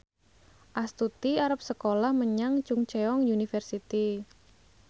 Astuti arep sekolah menyang Chungceong University